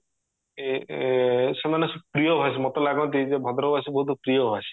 ଏ ଏ ସେମାନେ ପ୍ରିୟ ଭାଷୀ ମତେ ଲାଗନ୍ତି ଯେ ଭଦ୍ରକ ବାସୀ ବୋହୁତ ପ୍ରିୟ ଭାଷୀ